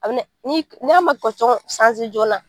n'a ma kɛcogo joonana